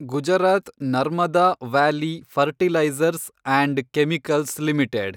Gujarat Narmada Valley Fertilizers and Chemicals limited